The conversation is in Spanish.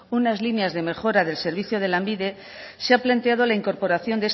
unas líneas de mejora del servicio de lanbide se ha planteado la incorporación